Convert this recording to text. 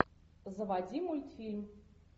заводи мультфильм